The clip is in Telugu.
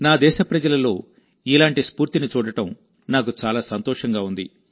నా దేశ ప్రజలలో ఇలాంటి స్ఫూర్తిని చూడడం నాకు చాలా సంతోషంగా ఉంది